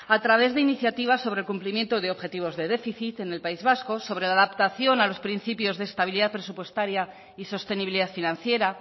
a través de iniciativas sobre cumplimiento de objetivos de déficit en el país vasco sobre adaptación a los principios de estabilidad presupuestaria y sostenibilidad financiera